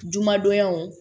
Jumadonyaw